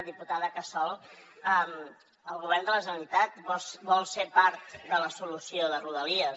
diputada casol el govern de la generalitat vol ser part de la solució de rodalies